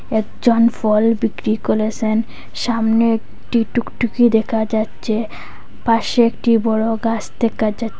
একজন ফল বিক্রি কলেসেন সামনে একটি টুকটুকি দেখা যাচ্চে পাশে একটি বড় গাস দেকা যাচ--